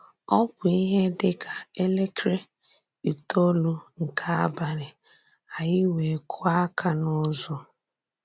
Ọ bụ́ íhè dị ka èlèkrè ítòòlù nke abalì, ányị wéè kùọ̀ àkà n’ụ̀zọ̀.